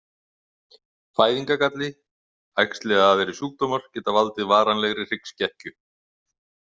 Fæðingargalli, æxli eða aðrir sjúkdómar geta valdið varanlegri hryggskekkju.